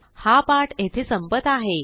हा पाठ येथे संपत आहे